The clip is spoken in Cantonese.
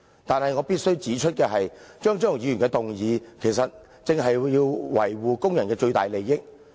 但是，我必須指出的是，張超雄議員的修正案，正是要維護工人的最大利益。